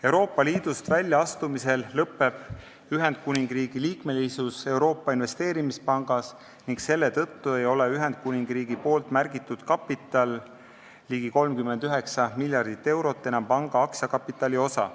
Euroopa Liidust väljaastumisel lõpeb Ühendkuningriigi liikmesus Euroopa Investeerimispangas, mistõttu ei ole Ühendkuningriigi märgitud kapital, ligi 39 miljardit eurot, enam panga aktsiakapitali osa.